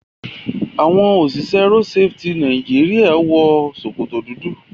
Àwọn òṣìṣẹ́ road safety Nàìjíríà wọ sokoto dúdú